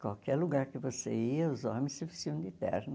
Qualquer lugar que você ia, os homens se vestiam de terno.